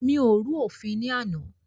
Mi ò rú òfin ní àná.